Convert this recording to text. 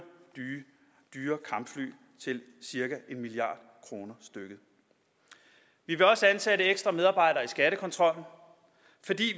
dyre kampfly til cirka en milliard kroner stykket vi vil også ansætte ekstra medarbejdere i skattekontrollen fordi